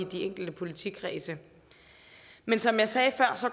de enkelte politikredse men som jeg sagde før